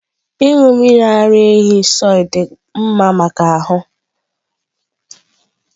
Ịṅụ mmiri ara ehi soy dị mma maka ahụ.